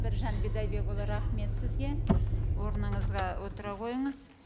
біржан бидайбекұлы рахмет сізге орныңызға отыра қойыңыз